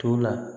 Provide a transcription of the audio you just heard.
To la